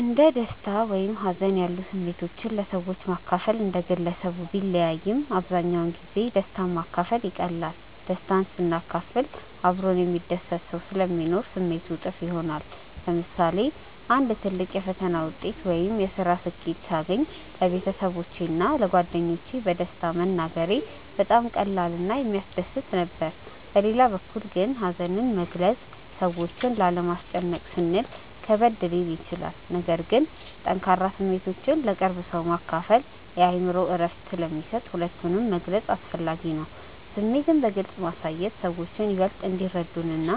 እንደ ደስታ ወይም ሀዘን ያሉ ስሜቶችን ለሰዎች ማካፈል እንደ ግለሰቡ ቢለያይም፣ አብዛኛውን ጊዜ ደስታን ማካፈል ይቀላል። ደስታን ስናካፍል አብሮን የሚደሰት ሰው ስለሚኖር ስሜቱ እጥፍ ይሆናል። ለምሳሌ አንድ ትልቅ የፈተና ውጤት ወይም የስራ ስኬት ሳገኝ ለቤተሰቦቼ እና ለጓደኞቼ በደስታ መናገሬ በጣም ቀላል እና የሚያስደስት ነበር። በሌላ በኩል ግን ሀዘንን መግለጽ ሰዎችን ላለማስጨነቅ ስንል ከበድ ሊል ይችላል። ነገር ግን ጠንካራ ስሜቶችን ለቅርብ ሰው ማካፈል የአእምሮ እረፍት ስለሚሰጥ ሁለቱንም መግለጽ አስፈላጊ ነው። ስሜትን በግልጽ ማሳየት ሰዎችን ይበልጥ እንዲረዱንና